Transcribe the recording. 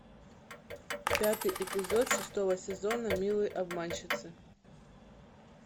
пятый эпизод шестого сезона милые обманщицы